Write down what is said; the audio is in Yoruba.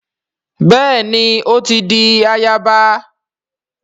Béèni o ti dì àyaba